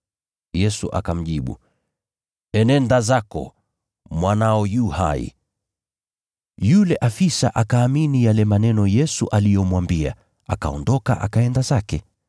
Yesu akamjibu, “Enenda zako, mwanao yu hai.” Yule afisa akaamini yale maneno Yesu aliyomwambia, akaondoka akaenda zake.